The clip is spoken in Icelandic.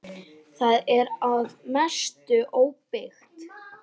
Það er að mestu óbyggt.